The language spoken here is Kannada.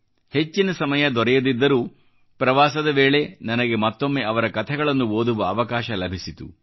ಹೆಚ್ಚಿನ ಸಮಯ ದೊರೆಯದಿದ್ದರೂ ಪ್ರವಾಸದ ವೇಳೆ ನನಗೆ ಮತ್ತೊಮ್ಮೆ ಅವರ ಕೆಲವು ಕಥೆಗಳನ್ನು ಓದುವ ಅವಕಾಶ ಲಭಿಸಿತು